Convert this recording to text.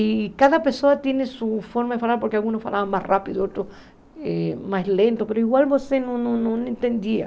E cada pessoa tinha sua forma de falar, porque alguns falavam mais rápido, outros eh mais lento, mas igual você não não entendia.